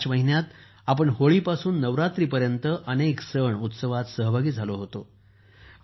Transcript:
या मार्च महिन्यात आपण होळीपासून नवरात्रीपर्यंत अनेक सण उत्सवात सहभागी झालो होतो